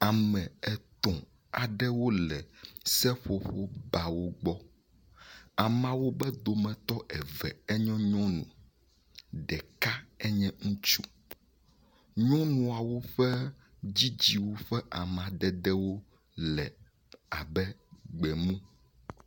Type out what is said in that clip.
Ame etɔ̃ aɖewo le seƒoƒobawo gbɔ. Ameawo ƒe dometɔ eve enye nyɔnu. Ɖeka enye ŋutsu. Nyɔnuawo ƒe dzidziwu ƒe amadedewo le abe gbemu.